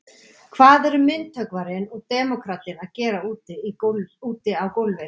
Hvað eru myndhöggvarinn og demókratinn að gera úti á gólfi.